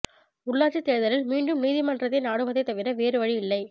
உள்ளாட்சித் தேர்தலில் மீண்டும் நீதிமன்றத்தை நாடுவதைத் தவிர வேறு வழி இல்லை